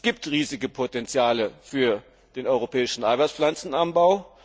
Es gibt riesige Potenziale für den europäischen Eiweißpflanzenanbau.